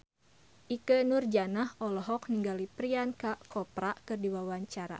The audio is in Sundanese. Ikke Nurjanah olohok ningali Priyanka Chopra keur diwawancara